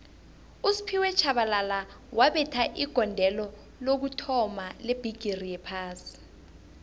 usphiwe shabalala wabetha igondelo lokuthoma lebhigixi yophasi